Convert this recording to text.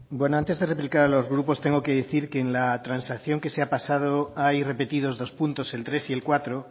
antes de replicar a los grupos tengo que decir que en la transacción que se ha pasado hay repetido dos puntos el tres y el cuatro